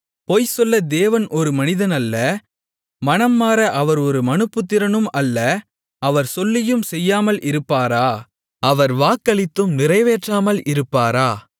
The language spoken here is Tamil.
பொய் சொல்ல தேவன் ஒரு மனிதன் அல்ல மனம்மாற அவர் ஒரு மனுபுத்திரனும் அல்ல அவர் சொல்லியும் செய்யாமல் இருப்பாரா அவர் வாக்களித்தும் நிறைவேற்றாமல் இருப்பாரா